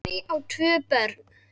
Guðný á tvö börn.